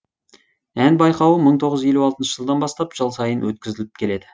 ән байқауы мың тоғыз жүз елу алты жылдан бастап жыл сайын өткізіліп келеді